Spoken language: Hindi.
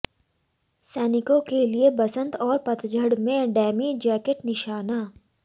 सैनिकों के लिए बसंत और पतझड़ में डेमी जैकेट निशाना